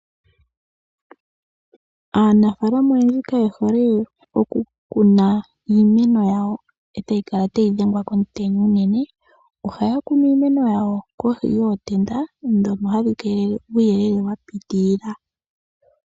Aanafaalama oyendji ka ye hole oku kuna iimeno yawo e ta yi kala tayi dhengwa komutenya unene. Ohaya kunu iimeno yawo kohi yootenda ndhono hadhi keelele uuyelele wa pitilila.